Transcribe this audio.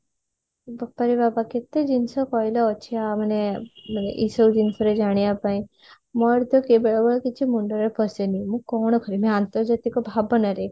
ବାପରେ ବାପା କେତେ ଜିନିଷ କହିଲ ଅଛି ଆ ମାନେ ଏଇସବୁ ଜିନିଷରୁ ଜାଣିବା ପାଇଁ ମୋର ତ ବେଳେ ବେଳେ କିଛି ମୁଣ୍ଡରେ ପଶେନି ମୁଁ କଣ ଅକରିବି ଅନ୍ତର୍ଜାତିକ ଭାବନା ରେ